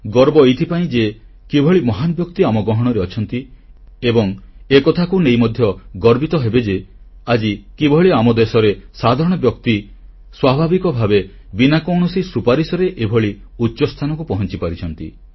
ଗର୍ବ ଏଥିପାଇଁ ଯେ କିଭଳି ମହାନ ବ୍ୟକ୍ତି ଆମ ଗହଣରେ ଅଛନ୍ତି ଏବଂ ଏକଥାକୁ ନେଇ ମଧ୍ୟ ଗର୍ବିତ ହେବେ ଯେ ଆଜି କିଭଳି ଆମ ଦେଶରେ ସାଧାରଣ ବ୍ୟକ୍ତି ସ୍ୱାଭାବିକ ଭାବେ ବିନା କୌଣସି ସୁପାରିଶରେ ଏଭଳି ଉଚ୍ଚସ୍ଥାନକୁ ପହଂଚିପାରୁଛନ୍ତି